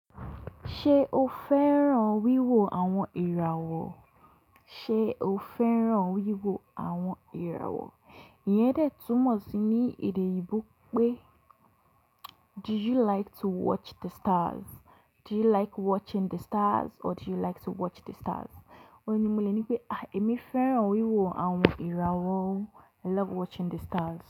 Ṣé o fẹ́ràn wíwo àwọn ìràwọ̀? Ṣé o fẹ́ràn wíwo àwọn ìràwọ̀? Iyẹn dẹ̀ túmọ̀ sí ní èdè oyinbo pé "Do you like to watch the stars?" "Do you like watching the stars?" or "Do you like to watch the stars?". Ó ní mo lè ní pé, "Àí, èmi fẹ́ràn wíwo àwọn ìràwọ̀". I love watching the stars.